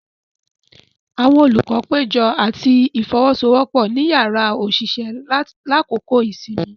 Awọn olukọ pejọ ati ifowosowopo ni yàrá oṣiṣẹ lakoko isinmi.